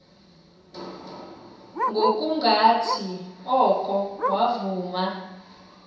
ngokungathi oko wavuma